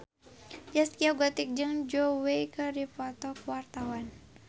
Zaskia Gotik jeung Zhao Wei keur dipoto ku wartawan